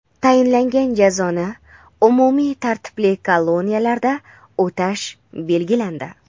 Tayinlangan jazoni umumiy tartibli koloniyalarda o‘tash belgilandi.